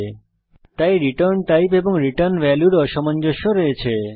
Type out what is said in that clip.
সুতরাং return type এবং return ভ্যালুর অসামঞ্জস্য আছে